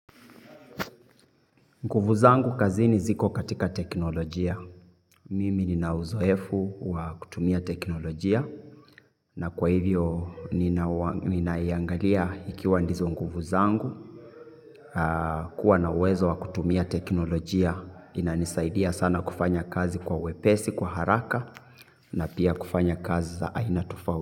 Nkufu zangu kazini ziko katika teknolojia. Mimi ni na uzoefu wa kutumia teknolojia na kwa hivyo nina iangalia ikiwa ndizo nkufu zangu. Kuwa na uwezo wa kutumia teknolojia inanisaidia sana kufanya kazi kwa wepesi, kwa haraka na pia kufanya kazi za aina tofa.